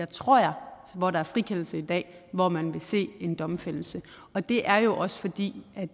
tror jeg hvor der er frikendelse i dag hvor man ville se en domfældelse og det er jo også fordi